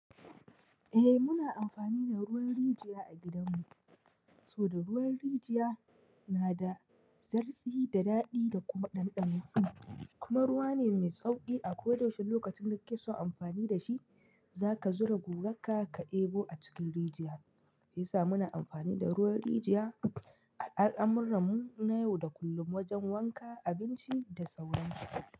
Eh muna amfani da ruwan rijiya a gidanmu, saboda ruwan rijiya na da zarsi da daɗi da kuma ɗanɗano, kuma ruwa ne mai sauƙi a koyaushe lokacin da kake so amfani da shi, za ka zura guga ka ɗebo a cikin rijiya, ya sa muna amfani da ruwan rijiya a al'amurranmu na yau da kullum wajen wanka, abinci da sauran su.